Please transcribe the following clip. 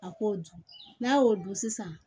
A k'o dun n'a y'o dun sisan